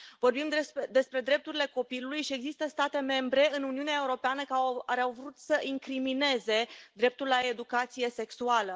Vorbim despre drepturile copilului și există state membre în Uniunea Europeană care au vrut să incrimineze dreptul la educație sexuală.